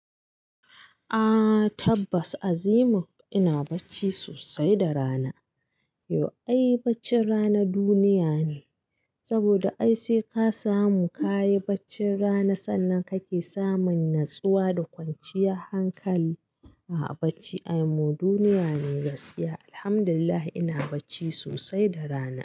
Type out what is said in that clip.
A tabbas Azimun ina bacci sosai da rana. Yau ai bacci rana duniya ne, saboda ai sai ka samu kayi bacci rana sannan kake samun natsuwa da kwanciyar hankali. A'a bacci aimu duniya ne gaskiya. Alhamdulillah ina bacci sosai da rana.